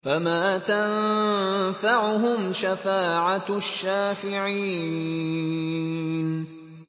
فَمَا تَنفَعُهُمْ شَفَاعَةُ الشَّافِعِينَ